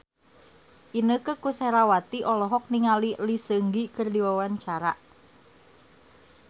Inneke Koesherawati olohok ningali Lee Seung Gi keur diwawancara